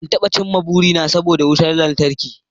Ban iya cimma burina ba saboda wutar lantarki